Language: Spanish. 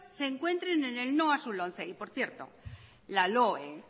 se encuentren en el no a su lomce y por cierto la loe